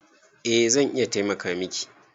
Eh zan iya taimaka miki